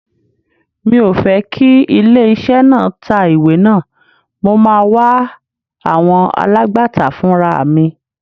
Mi ò fẹ́ kí ilé iṣẹ́ náà tá ìwé náà, mo máa wá àwọn alágbàtà fúnraà mi.